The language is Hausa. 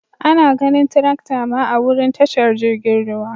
Ana ganin tirakta ma a'wurin tashar jirigin ruwa.